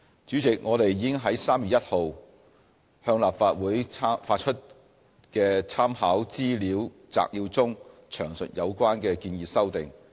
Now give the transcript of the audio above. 主席，我們已於3月1日向立法會發出的參考資料摘要中詳述有關的建議修訂。